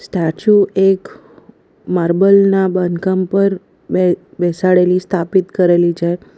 તાછુ એક માર્બલ ના બાંધકામ પર બે બેસાડેલી સ્થાપિત કરેલી --